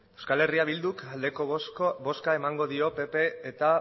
euskal herria bilduk aldeko bozka emango dio pp eta